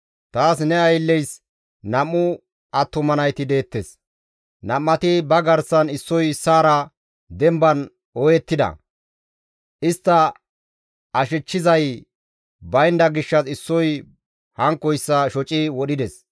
Taas ne aylleys nam7u attuma nayti deettes; nam7ati ba garsan issoy issaara demban ooyettida; istta ashechchizay baynda gishshas issoy hankkoyssa shoci wodhides.